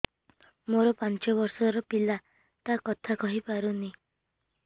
ମୋର ପାଞ୍ଚ ଵର୍ଷ ର ପିଲା ଟା କଥା କହି ପାରୁନି